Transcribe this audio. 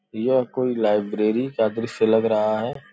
यह कोई लाइब्रेरी का दृश्य लग रहा है।